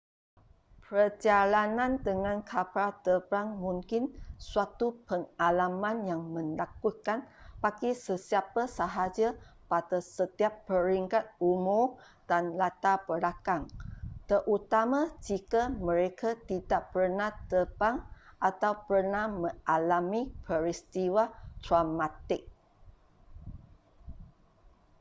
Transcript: perjalanan dengan kapal terbang mungkin suatu pengalaman yang menakutkan bagi sesiapa sahaja pada setiap peringkat umur dan latar belakang terutama jika mereka tidak pernah terbang atau pernah mengalami peristiwa traumatik